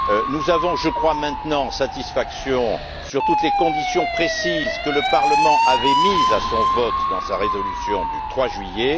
Nous avons, je crois, maintenant satisfaction sur toutes les conditions précises que le Parlement avait mises à son vote dans sa résolution du 3 juillet.